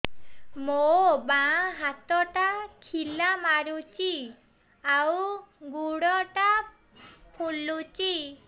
ମୋ ବାଆଁ ହାତଟା ଖିଲା ମାରୁଚି ଆଉ ଗୁଡ଼ ଟା ଫୁଲୁଚି